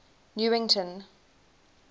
newington